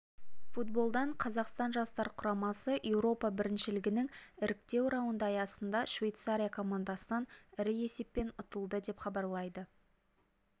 футболдан қазақстан жастар құрамасы еуропа біріншілігінің іріктеу раунды аясында швейцария командасынан ірі есеппен ұтылды деп хабарлайды